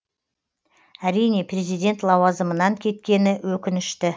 әрине президент лауазымынан кеткені өкінішті